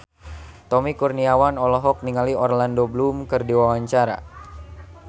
Tommy Kurniawan olohok ningali Orlando Bloom keur diwawancara